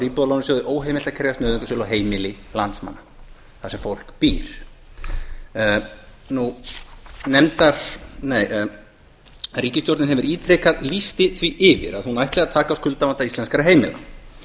er íbúðalánasjóði óheimilt að krefjast nauðungarsölu á heimili landsmanna þar sem fólk býr ríkisstjórnin hefur ítrekað lýst því yfir að hún ætli að taka á skuldavanda íslenskra heimila